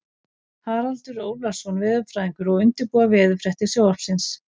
Haraldur Ólafsson veðurfræðingur að undirbúa veðurfréttir Sjónvarpsins.